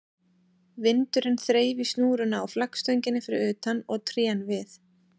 Vindurinn þreif í snúruna á flaggstönginni fyrir utan og trén við